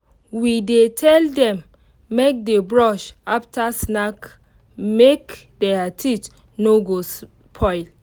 we dey tell them make dey brush after snack make their teeth no go spoil